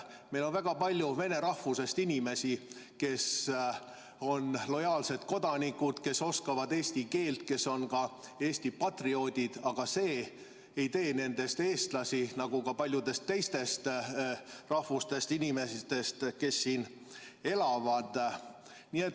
Meil on väga palju vene rahvusest inimesi, kes on lojaalsed kodanikud, kes oskavad eesti keelt, kes on ka Eesti patrioodid, aga see ei tee nendest eestlasi, nagu ka paljudest teistest muust rahvusest inimestest, kes siin elavad.